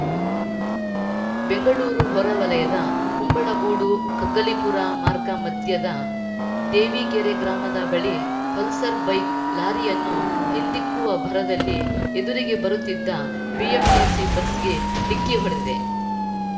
ಬೆಂಗಳೂರು ಹೊರವಲಯದ ಕುಂಬಳಗೂಡು ಕಗ್ಗಲೀಪುರ ಮಾರ್ಗ ಮಧ್ಯದ ದೇವಿಗೆರೆ ಗ್ರಾಮದ ಬಳಿ ಪಲ್ಸರ್‌ ಬೈಕ್‌ ಲಾರಿಯನ್ನು ಹಿಂದಿಕ್ಕುವ ಭರದಲ್ಲಿ ಎದುರಿಗೆ ಬರುತ್ತಿದ್ದ ಬಿಎಂಟಿಸಿ ಬಸ್‌ಗೆ ಡಿಕ್ಕಿ ಹೊಡೆದಿದೆ